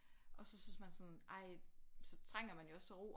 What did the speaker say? Og så synes man sådan ej så trænger man jo også til ro